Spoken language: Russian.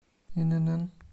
инн